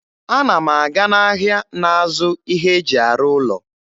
Ana m aga n'ahịa na-azụ ihe e ji arụ ụlọ.